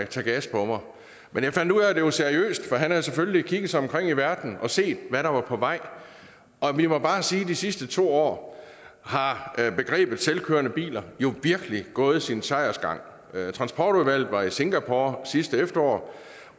tage gas på mig men jeg fandt ud af at det var seriøst ment for han havde selvfølgelig kigget sig omkring i verden og set hvad der var på vej og vi må bare sige at i de sidste to år har begrebet selvkørende biler virkelig gået sin sejrsgang transportudvalget var i singapore sidste efterår